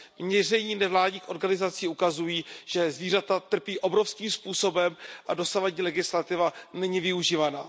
Měření v nevládních organizacích ukazují, že zvířata trpí obrovským způsobem a dosavadní legislativa není využívána.